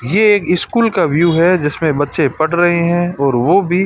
ये एक e school का व्यू है जिसमें बच्चे पढ़ रहे हैं और वो भी--